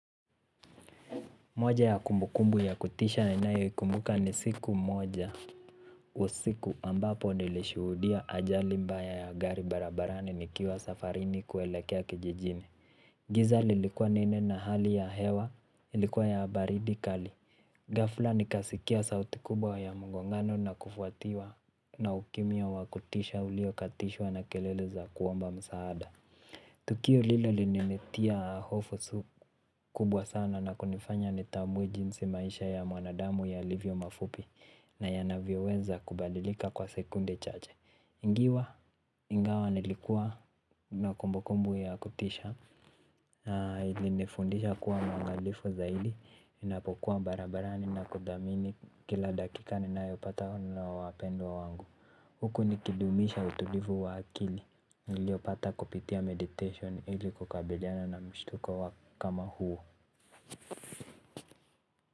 Moja ya kumbukumbu ya kutisha ninayoikumbuka ni siku moja usiku ambapo nilishuhudia ajali mbaya ya gari barabarani nikiwa safarini kuelekea kijijini. Giza lilikuwa nene na hali ya hewa ilikuwa ya baridi kali. Ghafla nikasikia sauti kubwa ya mgongano na kufuatiwa na ukimya wa kutisha uliokatishwa na kelele za kuomba msaada. Tukio lilo lilininitia hofu kubwa sana na kunifanya nitambue jinsi maisha ya mwanadamu yalivyo mafupi na yanavyoweza kubadilika kwa sekunde chache. Ngiwa, ingawa nilikuwa na kumbukumbu ya kutisha na ilinifundisha kuwa mwangalifu zaidi, ninapokuwa barabarani na kuthamini kila dakika ninayopata na wapendwa wangu. Huku nikidumisha utulivu wa akili niliopata kupitia meditation ili kukabiriana na mshtuko kama huo.